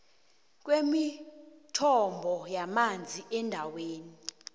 kwemithombo yamanzi endaweni